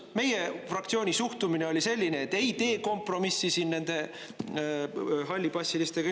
Meie fraktsiooni suhtumine oli selline, et ei tee kompromissi siin nende hallipassilistega.